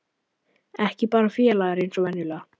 Ekki bara félagar eins og venjulega.